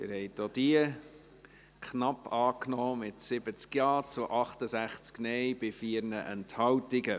Sie haben die Ziffer 3 der Motion knapp als Postulat angenommen, mit 70 Ja- zu 68 NeinStimmen bei 4 Enthaltungen.